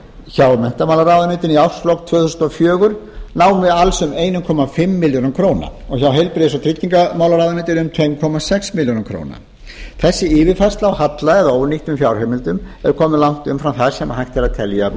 hjá menntamálaráðuneyti í árslok tvö þúsund og fjögur námu alls um einn komma fimm milljörðum króna og hjá heilbrigðis og tryggingamálaráðuneyti um tvö komma sex milljörðum króna þessi yfirfærsla á halla eða ónýttum fjárheimildum er komin langt umfram það sem hægt er að telja